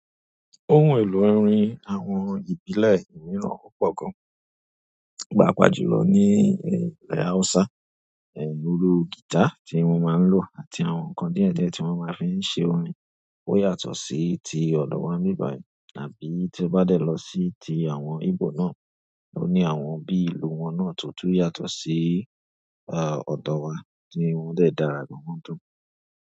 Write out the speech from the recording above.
Ohun èlò orin àwọn ìbílẹ̀ mìíràn opọ̀ gan. Paapàa jùlọ ní ìlé Haúsá, iru guitar tí wọ́n máa ń lò àti àwọn nǹkan díẹ̀díẹ̀ tí wọ́n máa fí ń ṣe orin ó yàtọ̀ sí ti ọ̀dọ̀ wa n bi bai, tàbí tí o bá dé lọ sí ti àwọn Igbo náà, o ní àwọn bí i ìlù wọn náà tó tún yàtọ̀ sí, à, ọ̀dọ̀ wa tí wọn dẹ̀ dára gan-an tán.